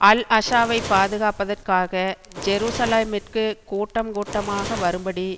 அல்அஷாவைப் பாதுகாப்பதற்காக ஜெரூசலேமிற்கு கூட்டம் கூட்டமாக வரும்படி